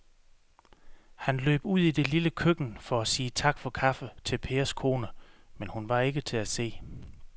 Han løb ud i det lille køkken for at sige tak for kaffe til Pers kone, men hun var ikke til at se.